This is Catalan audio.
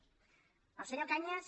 el senyor cañas